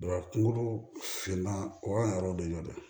kungolo finan o y'an yɛrɛw de ye dɛ